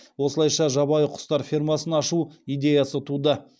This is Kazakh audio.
осылайша жабайы құстар фермасын ашу идеясы туды